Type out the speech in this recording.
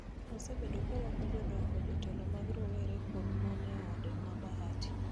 osebedo ka rwako jodongo, jotelo mag rowere kod mon e ode ma Bahati